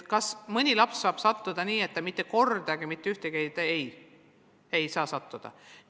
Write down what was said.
Kas mõne lapse puhul on võimalik, et ta mitte kordagi mitte ühtegi testi ei tee?